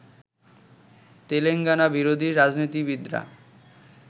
তেলেঙ্গানা-বিরোধী রাজনীতিবিদরা